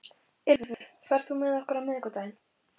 Ylfur, ferð þú með okkur á miðvikudaginn?